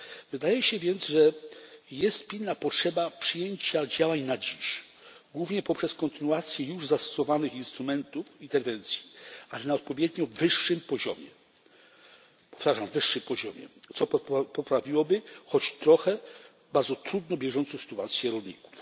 Wydaje się więc, że jest pilna potrzeba przyjęcia działań na dziś, głównie poprzez kontynuację już zastosowanych instrumentów i tendencji, ale na odpowiednio wyższym poziomie powtarzam wyższym poziomie co poprawiłoby choć trochę bardzo trudną bieżącą sytuację rolników.